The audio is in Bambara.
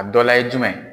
A dɔ la ye jumɛn